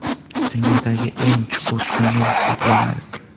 Dunyodagi eng chuqur tunnel hisoblanadi.